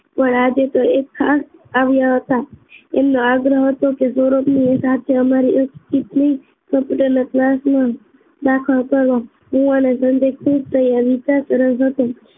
આજે તો એક ખાસ આવ્યા હતા એમનો આગ્રહ હતો કે સૌરભની સાથે અમારી કમ્પ્યુટરના ક્લાસમાં દાખલ કરો હું અને સંજય ખુશ થઈ વિચાર તરફ હતો